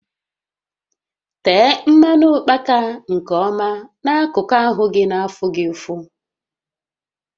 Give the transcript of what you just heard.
Tee mmanụ ụkpaka nke ọma n'akụkụ ahụ gị na afụ gị ụfụ